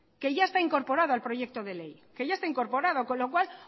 que ya está incorporado al proyecto de ley con lo cual